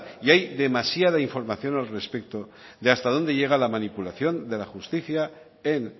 y hay demasiada información al respecto de hasta dónde llega la manipulación de la justicia en